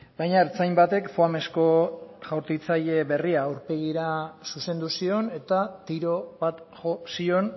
baina ertzain batek foamezko jaurtitzaile berria aurpegira zuzendu zion eta tiro bat jo zion